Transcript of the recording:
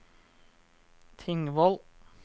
Tingvoll